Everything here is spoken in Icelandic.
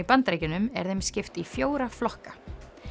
Bandaríkjunum er þeim skipt í fjóra flokka